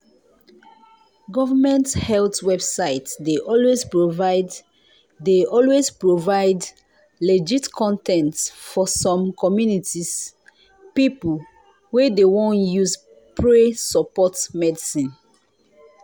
government health website dey always provide dey always provide legit con ten t for some communities people wa dey won use pray support medicine.